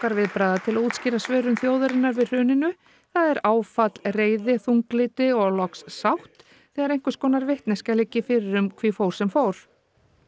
sorgarviðbragða til að útskýra svörun þjóðarinnar við hruninu það er áfall reiði þunglyndi og loks sátt þegar einhvers konar vitneskja liggi fyrir um hví fór sem fór